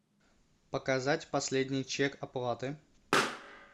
показать последний чек оплаты